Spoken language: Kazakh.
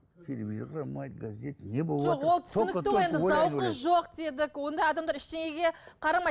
телевизор қарамайды газет не зауқы жоқ дедік ондай адамдар ештеңеге қарамайды